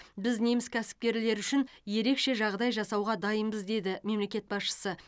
біз неміс кәсіпкерлері үшін ерекше жағдай жасауға дайынбыз деді мемлекет басшысы